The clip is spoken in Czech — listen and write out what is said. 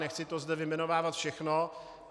Nechci to zde vyjmenovávat všechno.